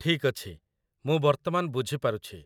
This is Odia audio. ଠିକ୍ ଅଛି, ମୁଁ ବର୍ତ୍ତମାନ ବୁଝି ପାରୁଛି।